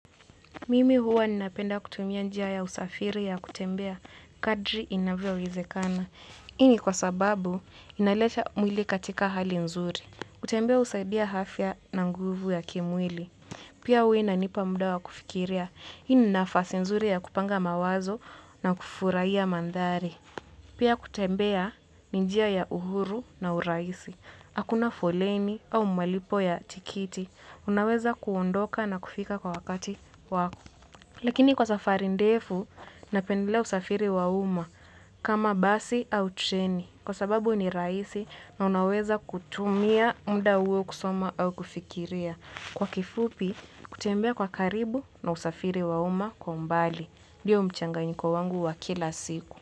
Mimi huwa ninapenda kutumia njia ya usafiri ya kutembea kadri inavyowezekana. Hii ni kwa sababu inaleta mwili katika hali nzuri. Kutembea husaidia afya na nguvu ya kimwili. Pia huwa inanipa muda wa kufikiria. Hii ni nafasi nzuri ya kupanga mawazo na kufurahia mandhari. Pia, kutembea ni njia ya uhuru na uraisi. Hakuna foleni au malipo ya tiketi. Unaweza kuondoka na kufika kwa wakati wako. Lakini kwa safari ndefu, napendelea usafiri wa umma kama basi au treni. Kwa sababu ni rahisi na unaweza kutumia mda huo kusoma au kufikiria. Kwa kifupi, kutembea kwa karibu na usafiri wa umma kwa mbali. Ndiyo mchanganyiko wangu wa kila siku.